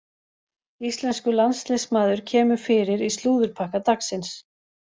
Íslenskur landsliðsmaður kemur fyrir í slúðurpakka dagsins.